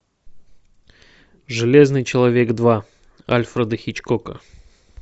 железный человек два альфреда хичкока